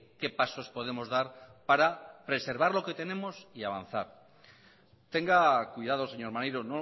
qué pasos podemos dar para preservar lo que tenemos y avanzar tenga cuidado señor maneiro